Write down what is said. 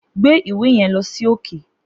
Gbe ìwé yen lọ sí òkè